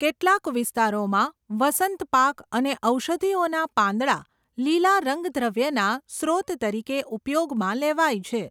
કેટલાક વિસ્તારોમાં, વસંત પાક અને ઔષધિઓના પાંદડાં લીલા રંગદ્રવ્યના સ્રોત તરીકે ઉપયોગમાં લેવાય છે.